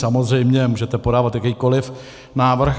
Samozřejmě můžete podávat jakýkoliv návrh.